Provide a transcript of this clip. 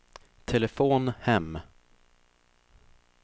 telefon hem